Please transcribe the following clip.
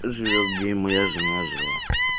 живёшь где и моя жена жила